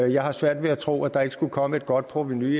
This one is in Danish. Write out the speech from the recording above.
jeg har svært ved at tro at der ikke skulle komme et godt provenu